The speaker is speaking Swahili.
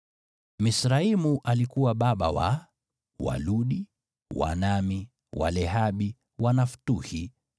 Misraimu alikuwa baba wa: Waludi, Waanami, Walehabi, Wanaftuhi,